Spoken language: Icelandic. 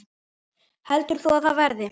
Heldur þú að það verði?